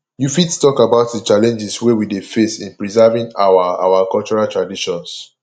you fit talk about di challenges wey we dey face in preserving our our cultural traditions